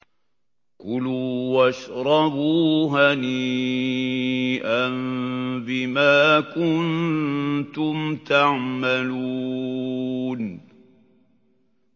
كُلُوا وَاشْرَبُوا هَنِيئًا بِمَا كُنتُمْ تَعْمَلُونَ